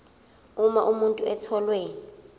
uma umuntu etholwe